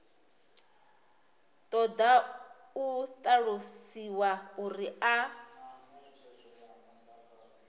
ṱoḓa u ṱalusiwa uri a